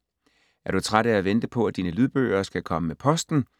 Er du træt af at vente på, at dine lydbøger skal komme med posten?